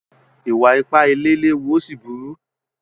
Ìwà-ipá ilé léwu ó sì burú.